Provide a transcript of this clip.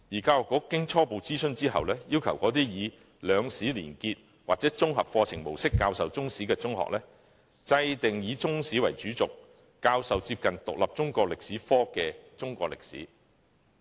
教育局經初步諮詢後，要求那些以"兩史連結"或"綜合課程模式"教授中史的中學"制訂以中史為主軸，教授接近獨立中國歷史科的中國歷史課程"。